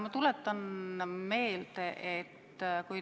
Ma tuletan meelde.